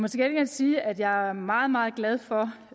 sige at jeg er meget meget glad for